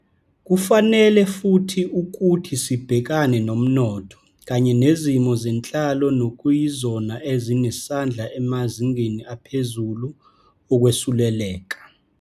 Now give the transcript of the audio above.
Kufanele futhi ukuthi sibhekane nomnotho kanye nezimo zenhlalo nokuyizona ezinesandla emazingeni aphezulu okwesuleleka.